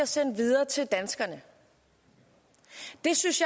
sendt videre til danskerne det synes